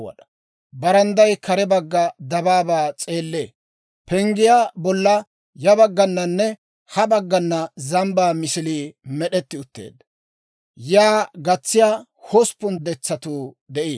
Barandday kare bagga dabaabaa s'eellee. Penggiyaa bolla ya baggananne ha baggana zambbaa misilii med'etti utteedda. Yaa gatsiyaa hosppun detsatuu de'iino.